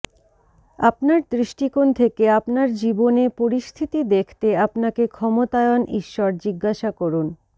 আপনার দৃষ্টিকোণ থেকে আপনার জীবনে পরিস্থিতি দেখতে আপনাকে ক্ষমতায়ন ঈশ্বর জিজ্ঞাসা করুন